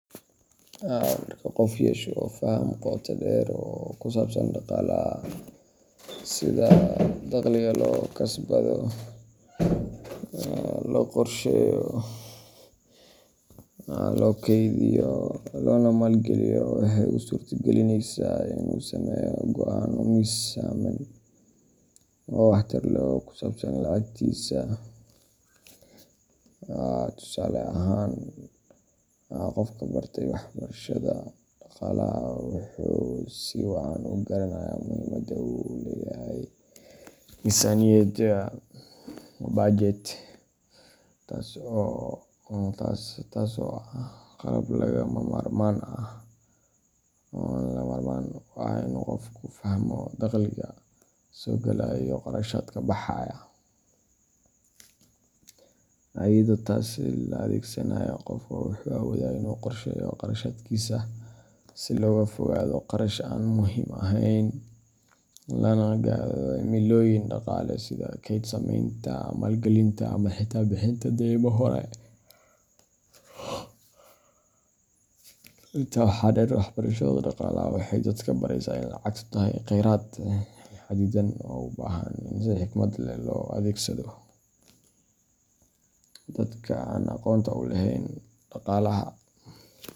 Marka qofku yeesho faham qoto dheer oo ku saabsan dhaqaalaha sida dakhliga loo kasbado, loo qorsheeyo, loo kaydiyo, loona maalgeliyo waxay u suurta gelineysaa in uu sameeyo go’aanno miisaaman oo waxtar leh oo ku saabsan lacagtiisa. Tusaale ahaan, qofka bartay waxbarashada dhaqaalaha wuxuu si wacan u garanayaa muhiimadda uu leeyahay miisaaniyadda budget, taasoo ah qalab lagama maarmaan u ah in qofku fahmo dakhliga soo galaya iyo kharashaadka baxaya. Iyadoo taas la adeegsanayo, qofka wuxuu awoodaa in uu qorsheeyo kharashaadkiisa si looga fogaado qarash aan muhiim ahayn, lana gaadho himilooyin dhaqaale sida kayd sameynta, maalgelinta, ama xitaa bixinta deymo hore. Intaa waxaa dheer, waxbarashada dhaqaalaha waxay dadka baraysaa in lacagtu tahay kheyraad xadidan oo u baahan in si xikmad leh loo adeegsado. Dadka aan aqoonta u lahayn dhaqaalaha.